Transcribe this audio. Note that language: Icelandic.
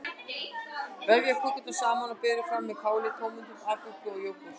Vefjið kökurnar saman og berið fram með káli, tómötum, agúrku og jógúrt.